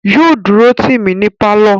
Yóò dúró tì mí ní pálọ̀